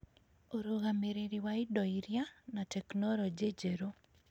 ũrũgamĩrĩri wa indo iria, na tekinolonjĩ njerũ